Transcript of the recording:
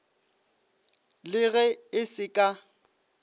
le ge e se ka